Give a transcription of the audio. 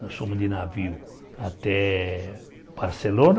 Nós fomos de navio até Barcelona.